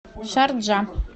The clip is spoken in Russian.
шарджа